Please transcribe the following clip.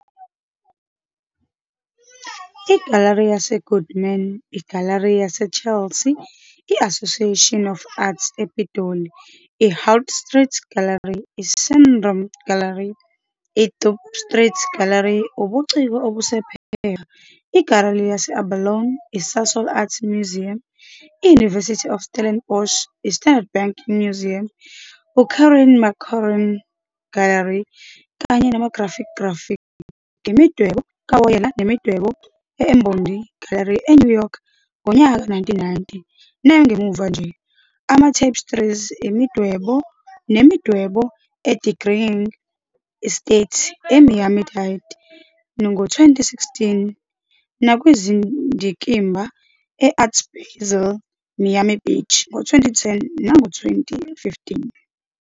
Igalari yaseGoodman, igalari yaseChelsea, i-Association of Arts ePitoli, i-Hout Street Gallery, i-Strydom Gallery, iDorp Street Gallery, ubuciko obusePhepha, Igalari ye-Abalone, iSasol Art Museum, i-University of Stellenbosch, i-Standard Bank Museum, uKaren Mackerron Gallery, kanye nama -graphicgraphic, imidwebo kawoyela nemidwebo e-Ombondi Gallery eNew York ngonyaka ka-1990 nangamuva nje, ama-tapestries, imidwebo nemidwebo eDeering Estate, eMiami Dade, ngo-2016 nakwizindikimba e-Art Basel Miami Beach 2010 nango-2015.